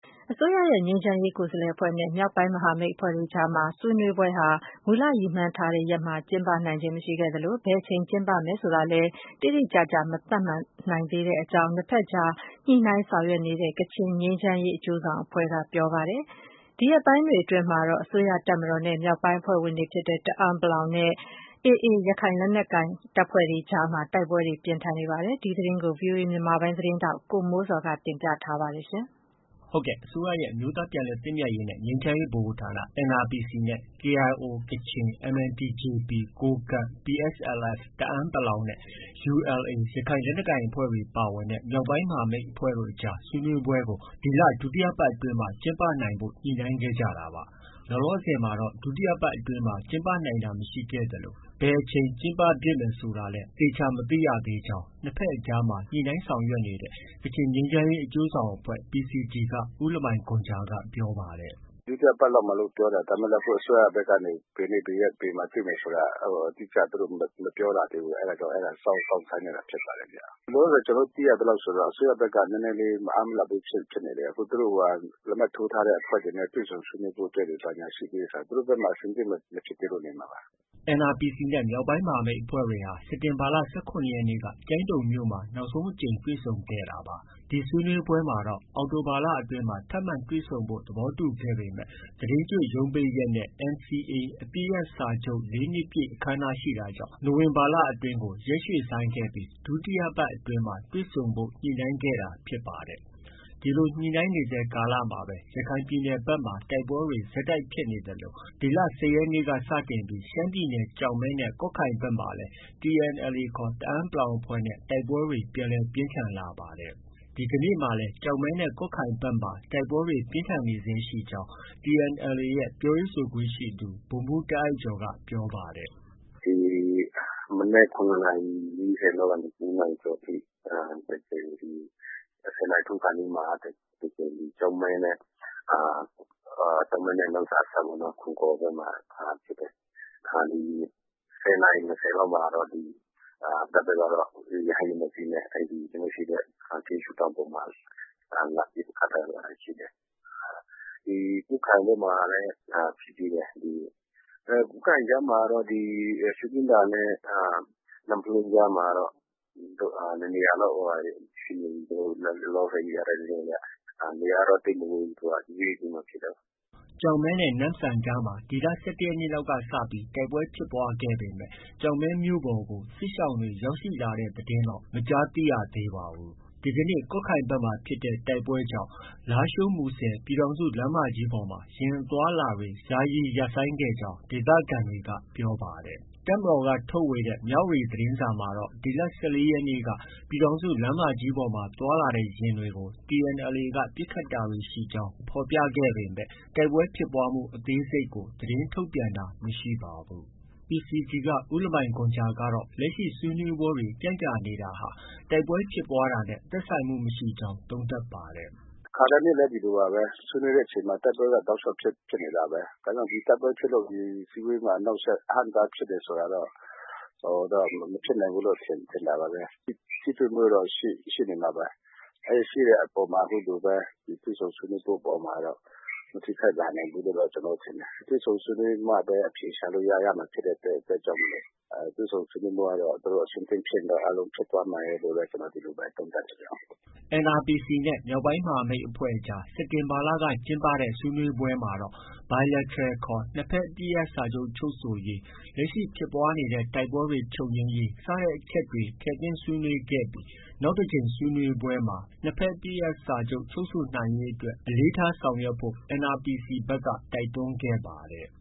အစိုးရရဲ့ ငြိမ်းချမ်းရေးကိုယ်စားလှယ်အဖွဲ့နဲ့ မြောက်ပိုင်းမဟာမိတ်အဖွဲ့တွေအကြားမှာ ဆွေးနွေးပွဲဟာ မူလ ရည်မှန်းထားတဲ့ ရက်မှာ ကျင်းပနိုင်ခြင်းမရှိခဲ့သလို ဘယ်အချိန်ကျင်းပမယ်ဆိုတာလည်း တိတိကျကျ မသတ်မှတ်နိုင်သေးကြောင်း နှစ်ဘက်အကြား ညှိနှိုင်းဆောင်ရွက်နေတဲ့ ကချင်ငြိမ်းချမ်းရေး အကျိုးဆောင်အဖွဲ့က ပြောပါတယ်။ ဒီရက်ပိုင်းတွေအတွင်းမှာတော့ အစိုးရတပ်မတော်နဲ့ မြောက်ပိုင်းအဖွဲ့ဝင်တွေဖြစ်တဲ့ တအန်း(ပလောင်)နဲ့ AA ရခိုင်တပ်ဖွဲ့တွေ အကြားမှာ တိုက်ပွဲတွေ ပြင်းထန်နေပါတယ်။ ဒီသတင်းကို ဗွီအိုအေမြန်မာပိုင်းရဲ့ သတင်းထောက် ကိုမိုးဇော်က တင်ပြထားပါတယ်။ အစိုးရရဲ့ အမျိုးသားပြန်လည်သင့်မြတ်ရေးနဲ့ ငြိမ်းချမ်းရေးဗဟိုဌာန NRPC နဲ့ KIO ကချင်၊ MNTJP ကိုးကန့်၊ PSLF တအန်း(ပလောင်)နဲ့ ULA ရခိုင်လက်နက်ကိုင်အဖွဲ့တွေပါဝင်တဲ့ မြောက်ပိုင်းမဟာမိတ် အဖွဲ့တို့အကြား ဆွေးနွေးပွဲကို ဒီလ ဒုတိယပတ်အတွင်း ကျင်းပနိုင်ဖို့ ညှိနှိုင်းခဲ့ကြတာပါ။ လောလောဆည်မှာတော့ ဒုတိယပတ်အတွင်း ကျင်းပနိုင်တာမရှိခဲ့သလို ဘယ်အချိန် ကျင်းပဖြစ်မယ်ဆိုတာလည်း သေချာ မသိရသေးကြောင်း နှစ်ဘက်အကြားမှာ ညှိနှိုင်းဆောင်ရွက်နေတဲ့ ကချင်ငြိမ်းချမ်းရေးအကျိုးဆောင်အဖဲ့ွ PCG က ဦးလမိုင်ဂွန်ဂျာက ပြောပါတယ်။ “ ဒုတိယပတ်လောက်မှာလို့ ပြောတာ။ ဒါပေမဲ့လည်း အစိုးရဘက်ကနေ ဘယ်နေ့၊ ဘယ်ရက်၊ ဘယ်မှာ တွေ့မယ်ဆိုတာ အတိအကျ သူတို့ မပြောလာသေးဘူး။ အဲဒါကြောင့် အဲဒါ စောင့်ဆိုင်းနေတာဖြစ်ပါတယ်ဗျ။ လောလောဆည် ကျနော်တို့ သိရသလောက်ဆို အစိုးရဘက်က မအားမလပ်ဘူးဖြစ်နေတယ်။ သူတို့ လက်မှတ်ထိုးထားတဲ့အဖွဲ့တွေနဲ့ တွေ့ဆုံဆွေးနွေးဖို့အတွက် ဘာညာရှိသေးတယ်ဆိုတော့ အဆင်သင့်မဖြစ်သေးလို့ နေမှာပါ။” NRPC နဲ့ မြောက်ပိုင်းမဟာမိတ်အဖွဲ့တွေဟာ စက်တင်ဘာလ ၁၇ရက်နေ့က ကျိုင်းတုံမြို့မှာ နောက်ဆုံးအကြိမ် တွေ့ဆုံခဲ့တာပါ။ ဒီဆွေးနွေးပွဲမှာတော့ အောက်တိုဘာလအတွင်း ထပ်မံတွေ့ဆုံဖို့ သဘောတူခဲ့ပေမဲ့ သီတင်းကျွတ်ရုံးပိတ်ရက်နဲ့ NCA အပစ်ရပ်စာချုပ် ၄ နှစ်ပြည့် အခမ်းအနားရှိတာကြောင့် နိုဝင်ဘာလအတွင်း ရက်ရွှေ့ဆိုင်းခဲ့ပြီး ဒုတိယပတ်အတွင်း တွေ့ဆုံဖို့ ညှိနှိုင်းခဲ့ကြတာဖြစ်ပါတယ်။ ဒီလို ညှိနှိုင်းနေဆဲ ကာလမှာပဲ ရခိုင်ပြည်နယ်ဘက်မှာ တိုက်ပွဲတွေ ဆက်တိုက်ဖြစ်နေသလို ဒီလ ၁၀ရက်နေ့လောက်က စတင်ပြီး ရှမ်းပြည်နယ် ကျောက်မဲနဲ့ ကွတ်ခိုင်ဘက်မှာလည်း TNLA တအန်း(ပလောင်)အဖွဲ့နဲ့ တိုက်ပွဲတွေ ပြန်လည် ပြင်းထန်လာခဲ့ပါတယ်။ ဒီကနေ့မှာလည်း ကျောက်မဲနဲ့ ကွတ်ခိုင်ဘက်မှာ တိုက်ပွဲတွေ ပြင်းထန်နေဆဲရှိကြောင်း TNLA ရဲ့ ပြောရေးဆိုခွင့်ရှိသူ ဗိုလ်မှုး တားအိုက်ကျော်က ပြောပါတယ်။ “ ဒီမနက် ၇နာရီ ၄၀လောက်ကနေ ၉ နာရီကျော်ထိ တစ်ကြိမ်၊ ၁၀နာရီထိုးခါနီးမှာ တစ်ကြိမ် ကျောက်မဲနဲ့ နမ့်ဆန်အစပ် ခွန်ကော်ဘက်မှာဖြစ်တယ်။ ၁၀နာရီ ၂၀ လောက်မှာတော့ တပ်ဘက်က ရဟတ်ယာဉ် ၂ စီးနဲ့ ကျနော်တို့ရှိတဲ့ ထင်းရူးတောင်ပေါ်မှာ လာပစ်ခတ်တာတွေ ရှိတယ်။ ကွတ်ခိုင်ဘက်မှာလည်း ဖြစ်သေးတယ်။ ကွတ်ခိုင်ကြားမှာတော့ ဒီ ရှုခင်းသာနဲ့ နမ့်ဖလွန်းကြားမှာတော့ ၂ နေရာလောက်ရှိတယ်။ လောလောဆယ် ရထားတဲ့ သတင်းအရ နေရာကတော့ သိပ်မဝေးဘူး။ နေ့ခင်းမှာဖြစ်တာ။ ” ကျောက်မဲနဲ့ နမ့်ဆန်ကြားမှာ ဒီလ ၁၁ရက်နေ့လောက်ကစပြီး တိုက်ပွဲဖြစ်ပွားခဲ့ပေမဲ့ ကျောက်မဲမြို့ပေါ်ကို စစ်ရှောင်တွေ ရောက်ရှိလာတဲ့သတင်းတော့ မကြားသိရသေးပါဘူး။ ဒီကနေ့ ကွတ်ခိုင်ဘက်မှာဖြစ်တဲ့ တိုက်ပွဲကြောင့်တော့ လားရှိုး-မူဆယ်ပြည်ထောင်စုလမ်းမကြီးပေါ်မှာ ယာဉ်အသွားအလာတွေ ယာယီရပ်ဆိုင်းတာတွေဖြစ်ခဲ့တယ်လို့ ဒေသခံတွေက ပြောပါတယ်။ တပ်မတော်ကထုတ်ဝေတဲ့ မြဝတီသတင်းစာမှာတော့ ဒီလ ၁၄ရက်နေ့က ပြည်ထောင်စုလမ်းမကြီးပေါ်မှာ သွားလာတဲ့ယာဉ်တွေကို TNLA က ပစ်ခတ်တာတွေ ရှိကြောင်း ဖော်ပြခဲ့ပေမဲ့ တိုက်ပွဲဖြစ်ပွားမှုအသေးစိတ်ကို သတင်းထုတ်ပြန်တာမရှိပါဘူး။ PCG က ဦးလမိုင်ဂွမ်ဂျာကတော့ လက်ရှိ ဆွေးနွေးပွဲတွေ ကြန့်ကြာနေတာဟာ တိုက်ပွဲဖြစ်ပွားတာနဲ့ သက်ဆိုင်မှုမရှိနိုင်ကြောင်း သုံးသပ်ပါတယ်။ “ခါတိုင်းနှစ်လည်း ဒီလိုပါပဲ။ ဆွေးနွေးတဲ့အချိန်မှာ တိုက်ပွဲက တောက်လျောက်ဖြစ်နေတာပဲ။ ဒါကြောင့် ဒီတိုက်ပွဲဖြစ်လို့ ဆွေးနွေးပွဲမှာ အဟန့်အတားဖြစ်တယ်ဆိုတာတော့ မဖြစ်နိုင်ဘူးလို့တော့ ထင်တာပါပဲ။ ထိတွေ့မှုတော့ ရှိနေမှာပါပဲ။ ရှိတဲ့အေ ပါ်မှာ အခုလိုပဲ တွေ့ဆုံဆွေးနွေးမှုအပေါ်မှာတော့ မထိခိုက်လာနိုင်ဘူးလို့ ထင်တယ်။ တွေ့ဆုံဆွေးနွေးမှပဲ အခြေရှာလို့ ရမှာဖြစ်တဲ့အတွက်ကြောင့် တွေ့ဆုံဆွေးနွေးဖို့ကတော့ သူတို့ အဆင်သင့်ဖြစ်ရင်တော့ အားလုံးဖြစ်သွားမယ်လို့တော့ ဒီလိုပဲ သုံးသပ်လိုပါတယ်။” NRPC နဲ့ မြောက်ပိုင်းမဟာမိတ်အဖွဲ့အကြား စက်တင်ဘာလက ကျင်းပတဲ့ ဆွေးနွေးပွဲမှာတော့ Bilateral ခေါ် နှစ်ဘက်အပစ်ရပ်စာချုပ် ချုပ်ဆိုရေး၊ လက်ရှိဖြစ်ပွားနေတဲ့ တိုက်ပွဲတွေ ချုပ်ငြိမ်းရေး စတဲ့အချက်တွေ ထည့်သွင်းဆွေးနွေးခဲ့ပြီး နောက်တစ်ကြိမ်ဆွေးနွေးပွဲမှာ Bilateral ခေါ် နှစ်ဘက်အပစ်ရပ်စာချုပ် ချုပ်ဆိုရေးအတွက် အလေးထားဆောင်ရွက်ဖို့ NRPC ဘက်က တိုက်တွန်းခဲ့ပါတယ်